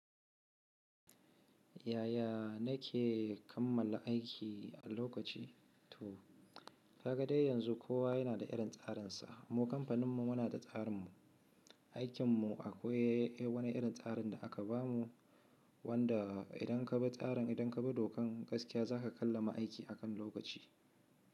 Yaya na ke kammala aiki a lokaci? To, ka ga dai yanzu kowa yana da irin tsarin sa. Mu kamfanin mu muna da tsarin mu. Aikin mu akwai wani irin tsarin da aka bamu wanda idan ka bi tsarin, idan ka bi dokan gaskiya za ka kammala aiki a kan lokaci.